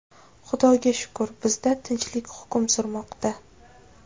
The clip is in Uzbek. Xudoga shukr, bizda tinchlik hukm surmoqda.